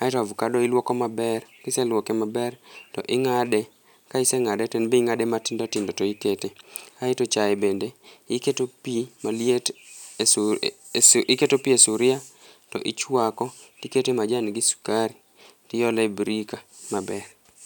a eto avacado iluoko maler ka iseluoko maber to ingade ka isengade to e n be ingade matindo tindo to ikete kae to chae bende iketo pi maliet iketo pi e sufuria to ichwako tikete majan gi sukari tiole birika maber.